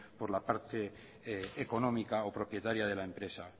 por la parte económica o propietaria de la empresa